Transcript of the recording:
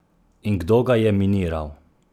In kdo ga je miniral?